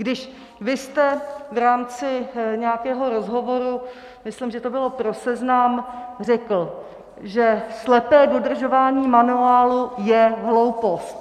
Když vy jste v rámci nějakého rozhovoru, myslím, že to bylo pro Seznam, řekl, že slepé dodržování manuálu je hloupost.